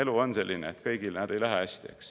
Elu on selline, et kõigil, näed, ei lähe hästi.